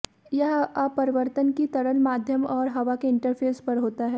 यह अपवर्तन कि तरल माध्यम और हवा के इंटरफेस पर होता है